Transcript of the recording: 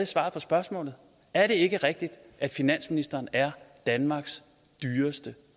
svar på spørgsmålet er det ikke rigtigt at finansministeren er danmarks dyreste